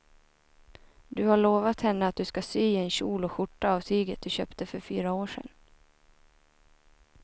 Du har lovat henne att du ska sy en kjol och skjorta av tyget du köpte för fyra år sedan.